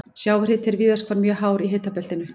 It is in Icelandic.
Sjávarhiti er víðast hvar mjög hár í hitabeltinu.